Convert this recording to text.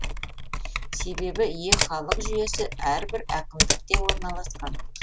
себебі е халық жүйесі әрбір әкімдікте орналасқан